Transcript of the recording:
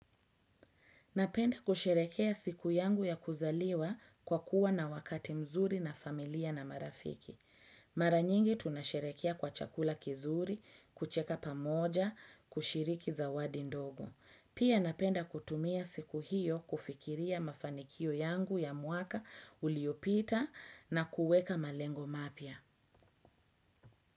Napenda kusherekea siku yangu ya kuzaliwa kwa kuwa na wakati mzuri na familia na marafiki. Maranyingi tunasherekea kwa chakula kizuri, kucheka pamoja, kushiriki zawadi ndogo. Pia napenda kutumia siku hiyo kufikiria mafanikio yangu ya mwaka uliopita na kuweka malengo mapya.